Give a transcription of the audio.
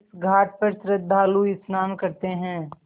इस घाट पर श्रद्धालु स्नान करते हैं